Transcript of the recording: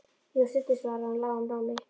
Jú, stundum, svaraði hún í lágum rómi.